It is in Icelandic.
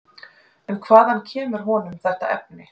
En hvaðan kemur honum þetta efni?